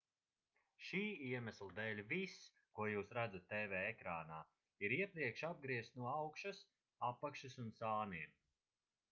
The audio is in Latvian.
šī iemesla dēļ viss ko jūs redzat tv ekrānā ir iepriekš apgriezts no augšas apakšas un sāniem